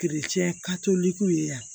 ye yan